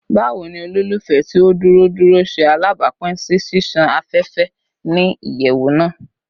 Bawo ni olufẹ ti o duro duro ṣe alabapin si ṣiṣan afẹfẹ ni iyẹwu naa?